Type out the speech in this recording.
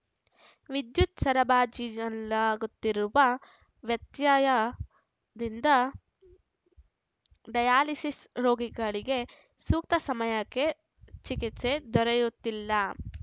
ವಿದ್ಯುತ್ ಸರಬಾಜಿಜಿನಲ್ಲಾಗುತ್ತಿರುವ ವ್ಯತ್ಯಯ ದಿಂದ ಡಯಾಲಿಸಿಸ್ ರೋಗಿಗಳಿಗೆ ಸೂಕ್ತ ಸಮಯಕ್ಕೆ ಚಿಕಿತ್ಸೆ ದೊರೆಯುತ್ತಿಲ್ಲ